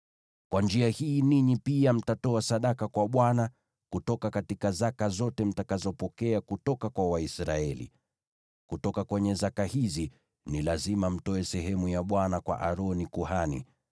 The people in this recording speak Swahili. Kwa njia hii, ninyi pia mtatoa sadaka kwa Bwana kutoka zaka zote mtakazopokea kutoka kwa Waisraeli. Kutoka kwenye zaka hizi, ni lazima mtoe sehemu ya Bwana kwa Aroni, kuhani.